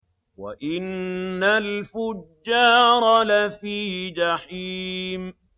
وَإِنَّ الْفُجَّارَ لَفِي جَحِيمٍ